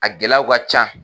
A gɛlɛyaw ka ca.